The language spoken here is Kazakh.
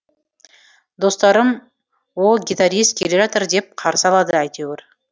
достарым о о о гитарист келе жатыр деп қарсы алады әйтеуір